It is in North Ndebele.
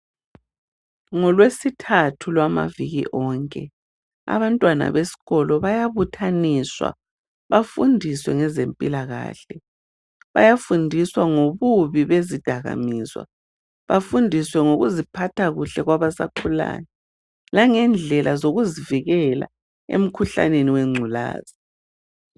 NgolweSithathu lwamaviki onke abantwana besikolo bayabuthaniswa bafundiswe ngezempilakahle. Bayafundiswa ngobubi bezidakamizwa bafundiswe ngokuziphatha kuhle kwabasakhulayo langendlela zokuzivikela emikhuhlaneni wengculaza.